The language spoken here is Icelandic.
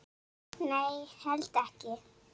Nei, held ekki.